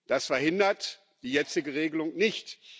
Das verhindert die jetzige Regelung nicht.